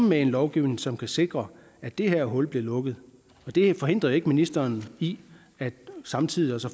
med en lovgivning som kan sikre at det her hul bliver lukket det forhindrer jo ikke ministeren i samtidig at